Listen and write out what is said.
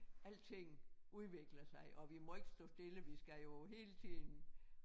Alting udvikler sig og vi må ikke stå stille vi skal jo hele tiden